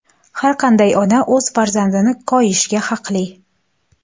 Har qanday ona o‘z farzandini koyishga haqli.